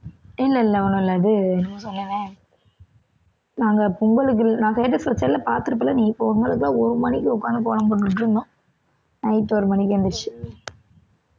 இல்ல இல்ல ஒண்ணும் இல்ல இது என்னமோ சொன்னேனே நாங்க பொங்கலுக்கு நான் status வெச்சேன்ல பாத்திருப்ப இல்ல நீ, பொங்கலுக்கு தான் ஒரு மணிக்கு உக்காந்து கோலம் போட்டுட்டிருந்தோம் night ஒரு மணிக்கு எந்திரிச்சு